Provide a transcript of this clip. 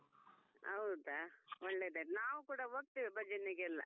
ಹೌದಾ ಒಳ್ಳೆದಾಯಿತು ನಾವು ಕೂಡ ಹೋಗ್ತೇವೆ ಭಜನೆಗೆಲ್ಲಾ.